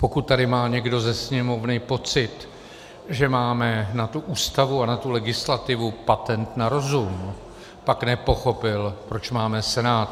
Pokud tady má někdo ze Sněmovny pocit, že máme na tu Ústavu a na tu legislativu patent na rozum, pak nepochopil, proč máme Senát.